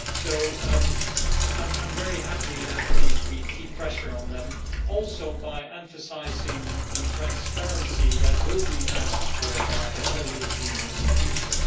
So I'm very happy that we are keeping pressure on them by emphasising the transparency that will be asked for by all European institutions.